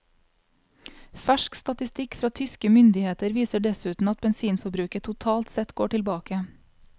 Fersk statistikk fra tyske myndigheter viser dessuten at bensinforbruket totalt sett går tilbake.